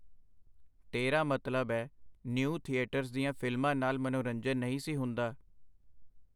ਤੇਰਾ ਮਤਲਬ ਏ, ਨਿਊ-ਥੀਏਟਰਜ਼ ਦੀਆਂ ਫਿਲਮਾਂ ਨਾਲ ਮਨੋਰੰਜਨ ਨਹੀਂ ਸੀ ਹੁੰਦਾ?.